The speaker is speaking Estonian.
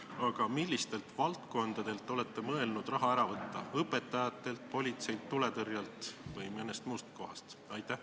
Aga millistelt valdkondadelt olete te mõelnud raha ära võtta – õpetajatelt, politseilt, tuletõrjelt või mõnest muust kohast?